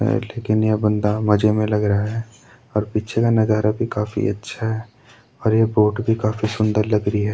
ये बंदा मजे में लग रहा है और पिछे का नज़ारा भी काफी अच्छा है और ये बोट भी काफी सुंदर लग रही है।